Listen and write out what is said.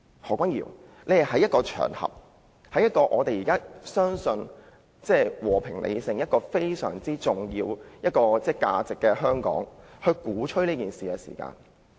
何君堯議員當時在一個公開場合，在主張和平理性這項非常重要的核心價值的香港鼓吹暴力。